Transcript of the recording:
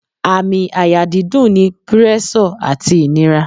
Àmì àyà dídùn ni púrẹ́sọ̀ àti ìnira